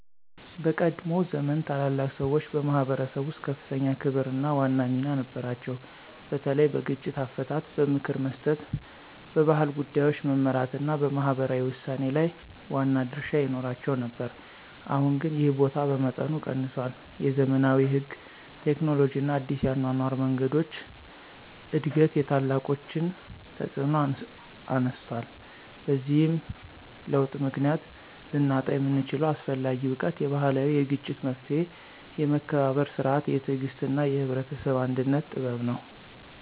በቀድሞ ዘመን ታላላቅ ሰዎች በማኅበረሰብ ውስጥ ከፍተኛ ክብርና ዋና ሚና ነበራቸው፤ በተለይ በግጭት አፈታት፣ በምክር መስጠት፣ በባህል ጉዳዮች መመራት እና በማህበራዊ ውሳኔ ላይ ዋና ድርሻ ይኖራቸው ነበር። አሁን ግን ይህ ቦታ በመጠኑ ቀንሷል፤ የዘመናዊ ሕግ፣ ቴክኖሎጂ እና አዲስ የአኗኗር መንገዶች እድገት የታላቆችን ተፅዕኖ አነስቷል። በዚህ ለውጥ ምክንያት ልናጣው የምንችለው አስፈላጊ እውቀት የባህላዊ የግጭት መፍትሔ፣ የመከባበር ሥርዓት፣ የትዕግሥት እና የህብረተሰብ አንድነት ጥበብ ነው።